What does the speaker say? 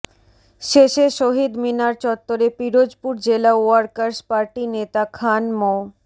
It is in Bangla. শেষে শহীদ মিনার চত্বরে পিরোজপুর জেলা ওয়ার্কার্স পার্টি নেতা খান মো